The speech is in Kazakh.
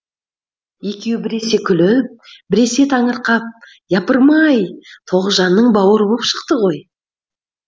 екеуі біресе күліп біресе таңырқап япырм ай тоғжанның бауыры боп шықты ғой